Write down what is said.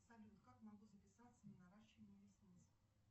салют как могу записаться на наращивание ресниц